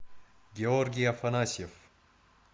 георгий афанасьев